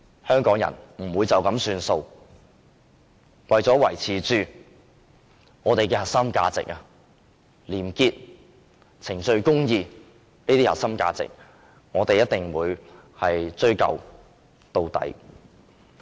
香港人不會就此作罷，為了維持本港廉潔、程序公義的核心價值，我們一定會追究到底。